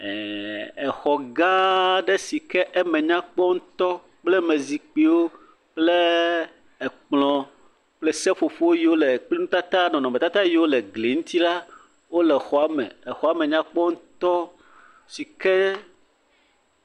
Exɔ gã aɖe sike eme nyakpɔ ŋutɔ. Zikpuiwo kple ekplɔ kple seƒoƒowo yi ke le nɔnɔme tata yiwo le gli ŋuti la. Wòle xɔa me. Exɔa me nyakpɔ ŋutɔ sike.